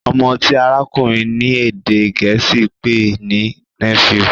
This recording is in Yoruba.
ọmọ ti arakunrin ní èdè gèésì pé ní " Nephew"